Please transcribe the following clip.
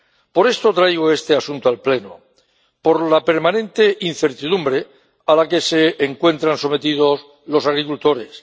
Por esto traigo este asunto al Pleno, por la permanente incertidumbre a la que se encuentran sometidos los agricultores.